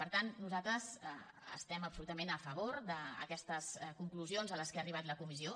per tant nosaltres estem absolutament a favor d’aquestes conclusions a què ha arribat la comissió